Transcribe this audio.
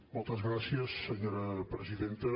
moltes gràcies senyora presidenta